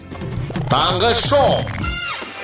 таңғы шоу